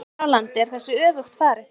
Hér á landi er þessu öfugt farið.